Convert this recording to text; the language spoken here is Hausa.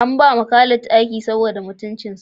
An ba ma Khalid aiki saboda mutuncinsa